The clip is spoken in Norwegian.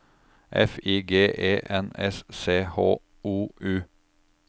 F I G E N S C H O U